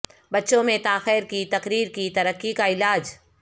بچوں میں تاخیر کی تقریر کی ترقی کا علاج